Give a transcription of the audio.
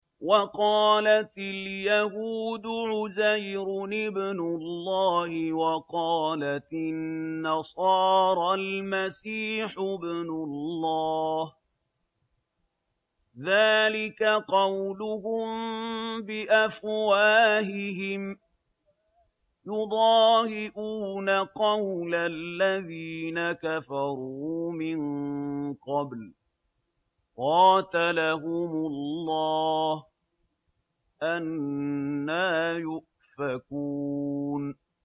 وَقَالَتِ الْيَهُودُ عُزَيْرٌ ابْنُ اللَّهِ وَقَالَتِ النَّصَارَى الْمَسِيحُ ابْنُ اللَّهِ ۖ ذَٰلِكَ قَوْلُهُم بِأَفْوَاهِهِمْ ۖ يُضَاهِئُونَ قَوْلَ الَّذِينَ كَفَرُوا مِن قَبْلُ ۚ قَاتَلَهُمُ اللَّهُ ۚ أَنَّىٰ يُؤْفَكُونَ